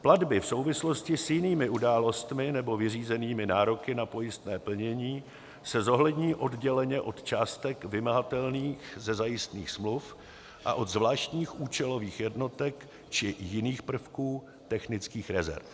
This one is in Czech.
Platby v souvislosti s jinými událostmi nebo vyřízenými nároky na pojistné plnění se zohlední odděleně od částek vymahatelných ze zajistných smluv a od zvláštních účelových jednotek či jiných prvků technických rezerv.